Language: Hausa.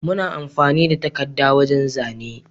Muna amfani da takada wajan zane